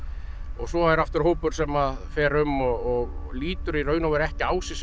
svo er aftur hópur sem fer um og lítur ekki á sig sem